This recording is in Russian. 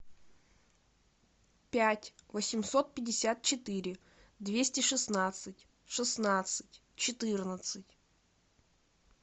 пять восемьсот пятьдесят четыре двести шестнадцать шестнадцать четырнадцать